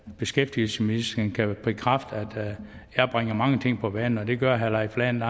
beskæftigelsesministeren kan bekræfte at jeg bringer mange ting på banen og det gør herre leif lahn